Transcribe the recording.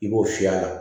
I b'o fiyɛ a la